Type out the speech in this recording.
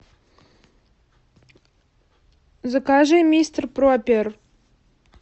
закажи мистер пропер